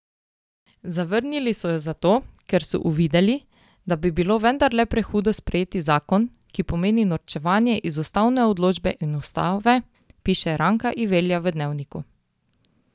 Zavrnili so jo zato, ker so uvideli, da bi bilo vendarle prehudo sprejeti zakon, ki pomeni norčevanje iz ustavne odločbe in ustave, piše Ranka Ivelja v Dnevniku.